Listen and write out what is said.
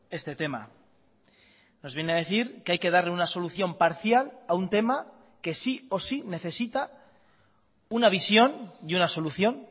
este tema nos viene a decir que hay que darle una solución parcial a un tema que sí o sí necesita una visión y una solución